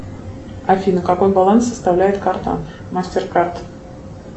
афина какой баланс составляет карта мастер карт